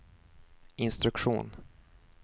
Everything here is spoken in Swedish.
instruktion